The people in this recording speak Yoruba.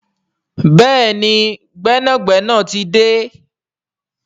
Béèni gbénàgbénà tí dé.